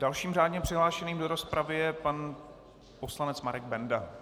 Dalším řádně přihlášeným do rozpravy je pan poslanec Marek Benda.